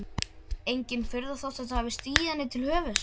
Engin furða þótt þetta hafi stigið henni til höfuðs.